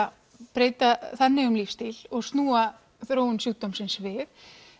breyta þannig um lífsstíl og snúa þróun sjúkdómsins við